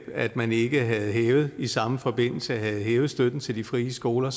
at man ikke i samme forbindelse havde hævet støtten til de frie skoler